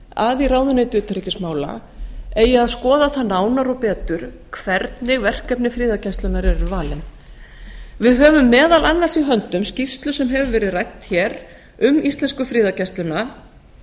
að í ráðuneyti utanríkismála eigi að skoða það nánar og betur hvernig verkefni friðargæsluna eru valin við höfum meðal annars í höndum skýrslu sem hefur verið rædd hér um íslensku friðargæsluna